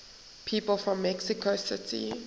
people from mexico city